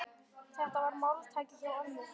Þetta var máltæki hjá ömmu.